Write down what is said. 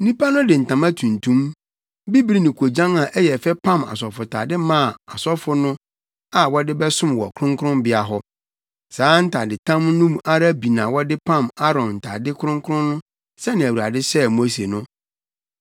Nnipa no de ntama tuntum, bibiri ne koogyan a ɛyɛ fɛ pam asɔfotade maa asɔfo no a wɔde bɛsom wɔ kronkronbea hɔ. Saa ntadetam no ara bi na wɔde pam Aaron ntade kronkron no sɛnea Awurade hyɛɛ Mose no.